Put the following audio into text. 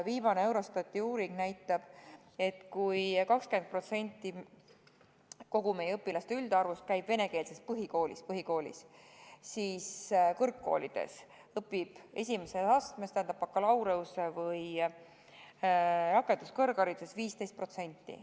Viimane Eurostati uuring näitab, et kui 20% meie õpilaste üldarvust käib venekeelses põhikoolis, siis kõrgkoolides õpib esimeses astmes, tähendab bakalaureuseõppes või rakenduskõrghariduses selliseid noori 15%.